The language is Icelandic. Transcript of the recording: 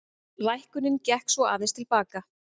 Lækkunin gekk svo aðeins til baka